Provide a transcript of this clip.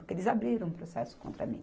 Porque eles abriram um processo contra mim.